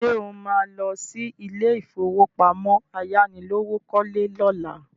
Ṣé o má lọ sí ilé ìfowópamọ́ ayánilówókọ́lé lọ́la?